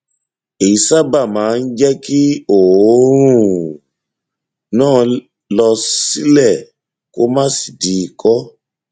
èyí sábà máa ń jẹ kí òórùn náà lọ sílẹ kó má sì di ikọ